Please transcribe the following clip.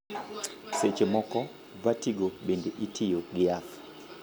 Seche moko, vertigo bende itiyo gi yath.